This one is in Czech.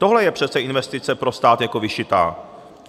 Tohle je přece investice pro stát jako vyšitá.